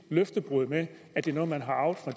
løftebrud med at det er noget man har arvet fra